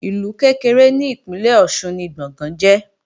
Ìlú kékeré ni ìpínlè Ọ̀ṣun ni Gbọ̀ngán jẹ́